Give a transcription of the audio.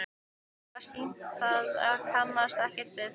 Mér var sýnt það en ég kannaðist ekkert við það.